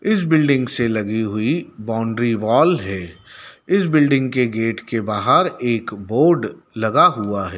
इस बिल्डिंग से लगी हुई बाउंड्री वॉल है। इस बिल्डिंग के गेट के बाहर एक बोर्ड लगा हुआ है।